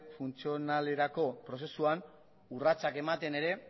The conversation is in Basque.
funtzionalerako prozesuan urratsak ematen ere